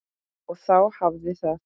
Og þá hafiði það!